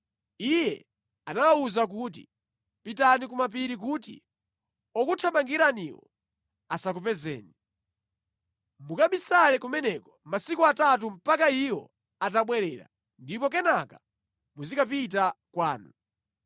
Iye anawawuza kuti, “Pitani ku mapiri kuti okuthamangiraniwo asakupezeni. Mukabisale kumeneko masiku atatu mpaka iwo atabwerera, ndipo kenaka muzikapita kwanu.”